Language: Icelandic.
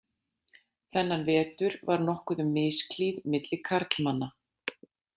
Þennan vetur varð nokkuð um misklíð milli karlmanna.